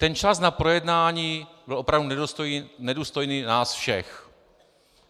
Ten čas na projednání byl opravdu nedůstojný nás všech.